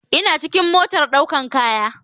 ina cikin motar daukar kaya